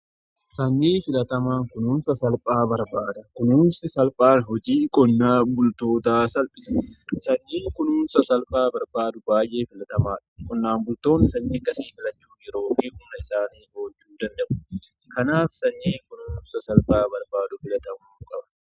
Sanyii filatamaan kunuunsa salphaa barbaada. Kunuunsi salphaan hojii qonnaan bultootaa salphise sanyii kunuunsa salphaa barbaadu baay'ee filatamaadha. Qonnaan bultoonni sanyii akkasii filachuun yeroo fi humna isaanii qusachuu danda'u. Kanaaf sanyii kunuunsa salphaa barbaadu filatamuu qaba.